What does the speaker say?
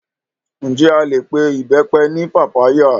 Ǹjẹ́ a lè pe Ìbẹ́pẹ ní pápá yà?